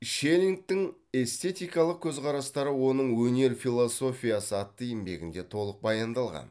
шеллингтің эстетикалық көзқарастары оның өнер философиясы атты еңбегінде толық баяндалған